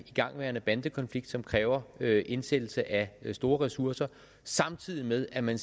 igangværende bandekonflikt som kræver indsættelse af store ressourcer samtidig med at man